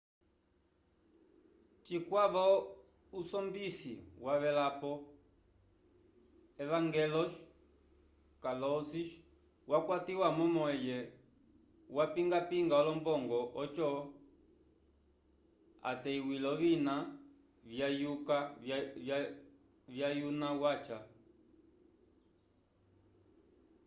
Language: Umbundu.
cikwavo usombisi wavelapo evangelos kalousis wakwatiwa momo eye wapingapinga olombongo oco ateywile ovina vyayuna waca